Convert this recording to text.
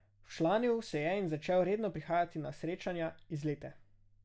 Včlanil se je in začel redno prihajati na srečanja, izlete.